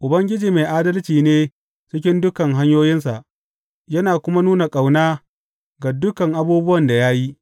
Ubangiji mai adalci ne cikin dukan hanyoyinsa yana kuma nuna ƙauna ga dukan abubuwan da ya yi.